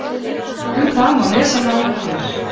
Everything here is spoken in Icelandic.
Um það má lesa nánar hér.